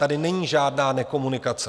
Tady není žádná nekomunikace.